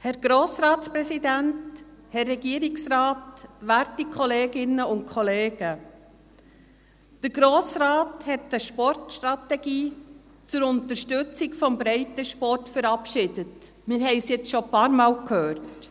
Der Grosse Rat hat eine Sportstrategie zur Unterstützung des Breitensports verabschiedet, wir haben es nun schon mehrmals gehört.